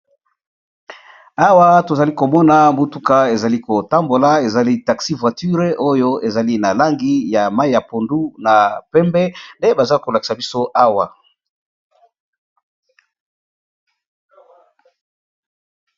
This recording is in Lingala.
awa tozali komona motuka ezali kotambola ezali taxi-voiture oyo ezali na langi ya mai ya pondu na pembe nde baza kolakisa biso awa